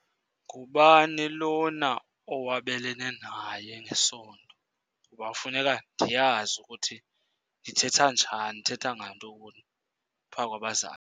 Ngubani lona owabelene naye ngesondo? Kuba funeka ndiyazi ukuthi ndithetha njani, ndithetha ngantoni phaa kwabazali.